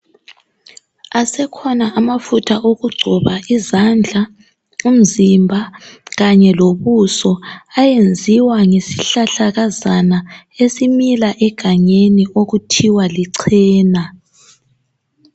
Asekhona amafutha okugcoba izandla, umzimba kanye lobuso ayenziwa ngesihlahlakazana esimila egangeni okuthiwa lichena.